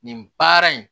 Nin baara in